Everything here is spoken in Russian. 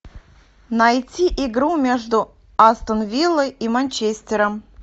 найти игру между астон виллой и манчестером